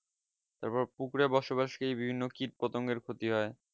তারপর্ পুকুরে বসবাসী কীটপতঙ্গের ক্ষতি হয়